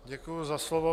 Děkuji za slovo.